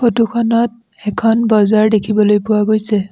Photo খনত এখন বজাৰ দেখিবলৈ পোৱা গৈছে।